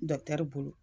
bolo